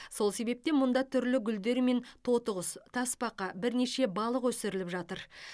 сол себептен мұнда түрлі гүлдер мен тотықұс тасбақа бірнеше балық өсіріліп жатыр